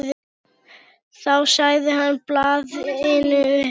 Þá sagði hann blaðinu upp.